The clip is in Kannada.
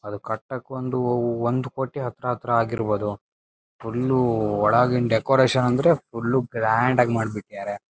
ಅದ್ ಕಟ್ಟಕೊಂಡು ಒಂದ್ ಕೋಟಿ ಹತ್ರ ಹತ್ರ ಆಗಿರಬೊ ದು ಫುಲ್ಲು ಒಳಗಿನ ಡೆಕೋರೇಷನ್ ಅಂದ್ರೆ ಫುಲ್ಲು ಗ್ರಾಂಡ್ ಆಗಿ ಮಾಡ್ಬಿಟ್ಟಿದರೆ--